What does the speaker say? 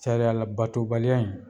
sariya labatobaliya in